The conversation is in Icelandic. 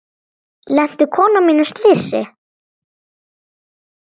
Lenti konan mín í slysi?